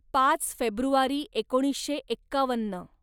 पाच फेब्रुवारी एकोणीसशे एक्कावन्न